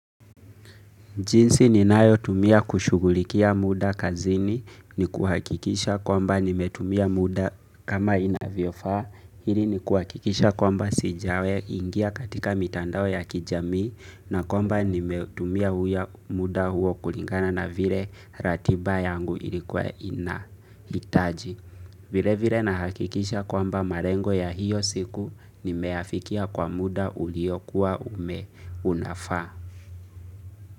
Jinsi ninayotumia kushughulikia muda kazini ni kuhakikisha kwamba nimetumia muda kama inavyofaa, hili ni kuhakikisha kwamba sijawe ingia katika mitandao ya kijamii na kwamba nimetumia muda huo kulingana na vile ratiba yangu ilikuwa inahitaji. Vile vile na hakikisha kwamba malengo ya hiyo siku nimeafikia kwa muda uliokuwa ume unafaa.